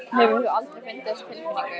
Hefur þú aldrei fundið þessa tilfinningu?